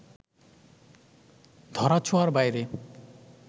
ধরা-ছোঁয়ার বাইরে